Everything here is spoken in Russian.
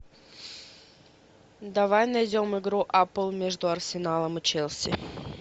давай найдем игру апл между арсеналом и челси